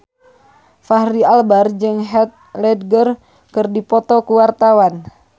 Fachri Albar jeung Heath Ledger keur dipoto ku wartawan